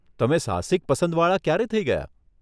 તમે સાહસિક પસંદવાળા ક્યારે થઇ ગયાં?